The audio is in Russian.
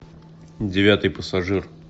девятый пассажир